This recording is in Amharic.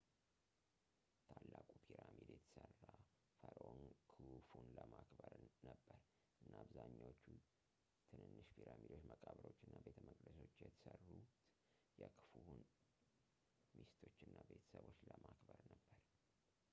ታላቁ ፒራሚድ የተሠራ ፈርዖን ክሁፉን ለማክበር ነበር እና አብዛኛዎቹ ትንንሽ ፒራሚዶች መቃብሮች እና ቤተ መቅደሶች የተሠሩት የክሁፉን ሚስቶች እና ቤተሰቦች ለማክበር ነበር